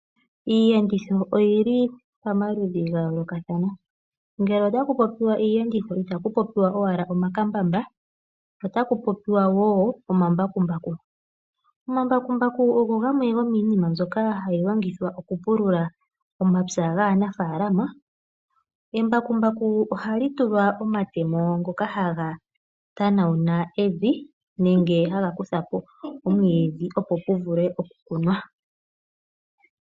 Iiyenditho oyi li pamaludhi ga yoolokathana. Ngele otaku popiwa iiyenditho itaku popiwa owala omakambamba, otaku popiwa woo omambakumbaku. Omambakumbaku ogo gamwe gomiinima mbyoka hayi longithwa okupulula omapya gaanafaalama. Embakumbaku ohali tulwa omatemo ngoka haga tanawula evi nenge haga kutha po omwiidhi, opo pu vule okukunwa.